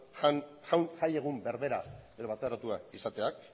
jai egun berbera edo bateratuak izateak